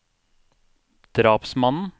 drapsmannen